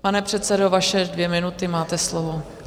Pane předsedo, vaše dvě minuty, máte slovo.